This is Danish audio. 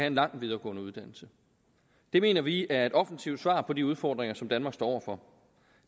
en lang videregående uddannelse det mener vi er et offensivt svar på de udfordringer som danmark står over for